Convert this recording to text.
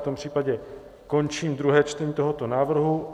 V tom případě končím druhé čtení tohoto návrhu.